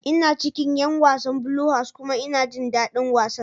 Ina cikin 'yan wasan Blue House kuma ina jin dadin wasan.